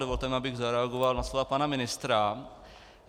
Dovolte mi, abych zareagoval na slova pana ministra.